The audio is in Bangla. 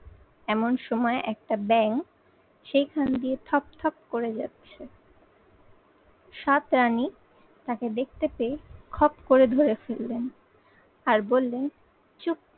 এমন সময় একটা ব্যাঙ সেইখান দিয়ে থপ থপ করে যাচ্ছে। সাত রানী তাকে দেখতে পেয়ে খপ করে ধরে ফেললেন আর বললেন চুপ